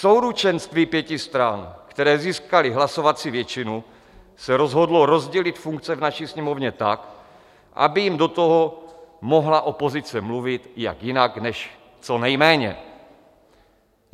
Souručenství pěti stran, které získaly hlasovací většinu, se rozhodlo rozdělit funkce v naší Sněmovně tak, aby jim do toho mohla opozice mluvit - jak jinak než co nejméně.